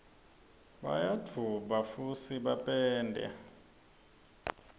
bayadvueba fusi bapende